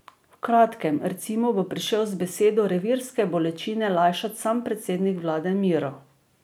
V kratkem, recimo, bo prišel z besedo revirske bolečine lajšat sam predsednik vlade Miro.